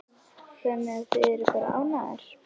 Þannig að þið eruð bara ánægðar?